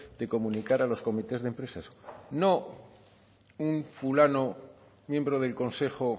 de comunicar a los comités de empresas no un fulano miembro del consejo